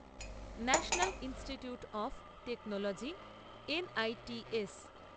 national institutes of technology NITS